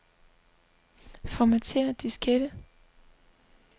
Formatér diskette.